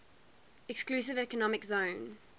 exclusive economic zone